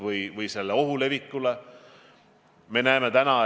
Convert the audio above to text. Mina arvan küll, et tuleb Eesti inimesi tänada.